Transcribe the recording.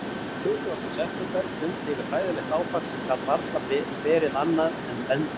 Tuttugasta september dundi yfir hræðilegt áfall sem gat varla verið annað en bending.